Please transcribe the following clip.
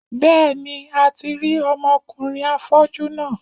Bẹ́ẹ̀ni, a ti rí ọmọ kùnrin afọ́jú náà.